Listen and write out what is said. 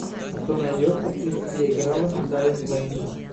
что найдется из где играла дайан лэйн